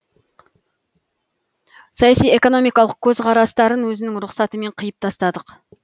саяси экономикалық көзқарастарын өзінің рұқсатымен қиып тастадық